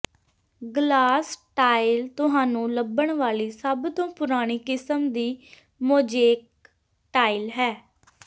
glass tile ਤੁਹਾਨੂੰ ਲੱਭਣ ਵਾਲੀ ਸਭ ਤੋਂ ਪੁਰਾਣੀ ਕਿਸਮ ਦੀ ਮੋਜ਼ੇਕ ਟਾਇਲ ਹੈ